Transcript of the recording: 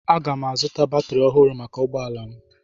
Aga m azụta batrị ọhụrụ maka ụgbọ ala m